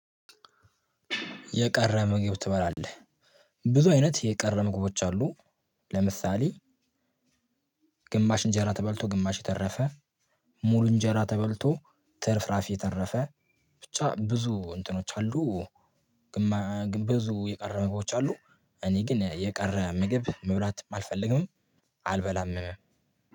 የቀረ ምግብ ትበላለህ ብዙ አይነት የቀረ ምግቦች አሉ። ለምሳሌ ግማሽ እንጀራ ተበልቶ ግማሽ የተረፈ ሙሉ እንጀራ ተበልቶ ትርፍራፊ የተረፈ ብቻ ብዙ እንትኖች አሉ። ግን ብዙ የቀረ ምግቦች አሉ። እኔ ግን የቀረ ምግብ መብላትም አልፈልግምም። አልበላምም።